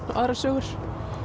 og aðrar sögur